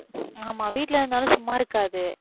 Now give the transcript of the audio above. ஆமா வீட்ல இருந்தாலும் சும்மா இருக்காது